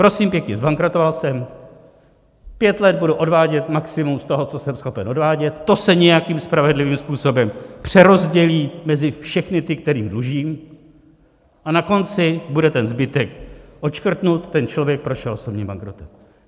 Prosím pěkně, zbankrotoval jsem, pět let budu odvádět maximum z toho, co jsem schopen odvádět, to se nějakým spravedlivým způsobem přerozdělí mezi všechny ty, kterým dlužím, a na konci bude ten zbytek odškrtnut, ten člověk prošel osobním bankrotem.